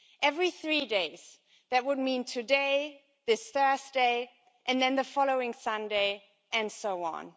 Every three days that would mean today, this Thursday, and then the following Sunday, and so on.